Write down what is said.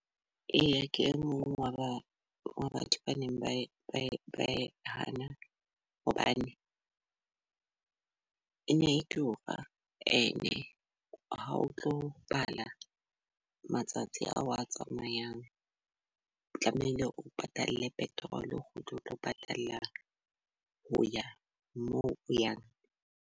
Eya ke e mong wa ba wa batho ba neng ba hana hobane ene e tura. Ene ha o tlo bala matsatsi ao a tsamayang tlamehile o patale petrol. O tlo patala ho ya moo o yang.